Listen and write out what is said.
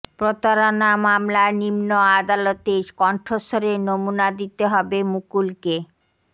প্রতারণা মামলায় নিম্ন আদালতে কণ্ঠস্বরের নমুনা দিতে হবে মুকুলকে